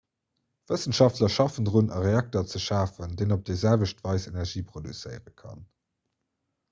wëssenschaftler schaffen drun e reakter ze schafen deen op déi selwecht weis energie produzéiere kann